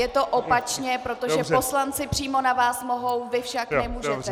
Je to opačně, protože poslanci přímo na vás mohou, vy však nemůžete.